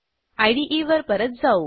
इदे वर परत जाऊ